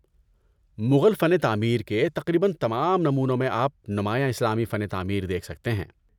مغل فن تعمیر کے تقریباً تمام نمونوں میں آپ نمایاں اسلامی فن تعمیر دیکھ سکتے ہیں۔